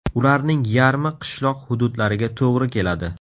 Ularning yarmi qishloq hududlariga to‘g‘ri keladi.